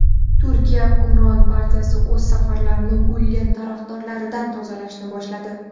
Turkiya hukmron partiyasi o‘z saflarini Gulen tarafdorlaridan tozalashni boshladi.